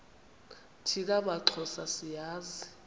thina maxhosa siyazi